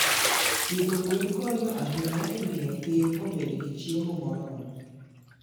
Pidho gwen konyo ahinya e miyo piny obed gi chiemo moromo.